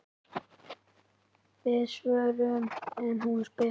Við svörum ef hún spyr.